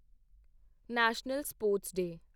national sports day